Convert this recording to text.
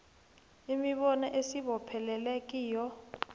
imibono esibopheleleke kiyo